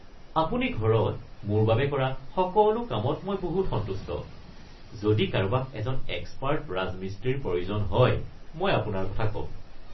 আপুনি ঘৰত মোৰ বাবে কৰা সকলো কামত মই বহুত সন্তুষ্ট। যদি কাৰোবাক এজন এক্সপাৰ্ট ৰাজমিস্ত্ৰীৰ প্ৰয়োজন হয় মই আপোনাৰ কথা ক'ম।